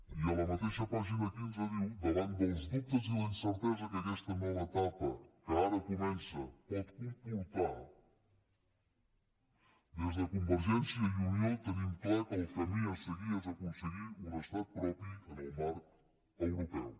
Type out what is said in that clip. i a la mateixa pàgina quinze diu davant dels dubtes i la incertesa que aquesta nova etapa que ara comença pot comportar des de convergència i unió tenim clar que el camí a seguir és aconseguir un estat propi en el marc europeu